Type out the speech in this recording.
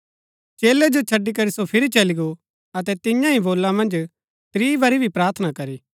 चेलै जो छड़ी करी सो फिरी चली गो अतै तिईआं ही बोला मन्ज त्रीं बरी भी प्रार्थना करी